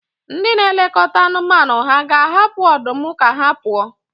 Ndị na-elekọta anụmanụ hà ga-ahapụ ọdụm ka ha pụọ?